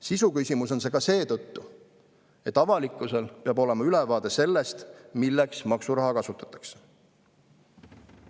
Sisuküsimus on see ka seetõttu, et avalikkusel peab olema ülevaade sellest, milleks maksuraha kasutatakse.